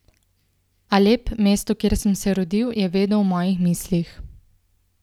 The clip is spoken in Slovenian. Alep, mesto, kjer sem se rodil, je vedno v mojih mislih.